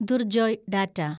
Durjoy data